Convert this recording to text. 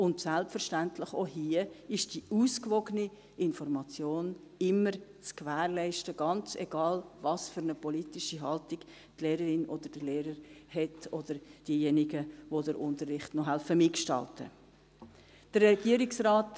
Und auch hier ist selbstverständlich die ausgewogene Information immer zu gewährleisten, ganz egal, welche politische Haltung die Lehrerin oder der Lehrer hat oder diejenigen, die den Unterricht noch mitgestalten helfen.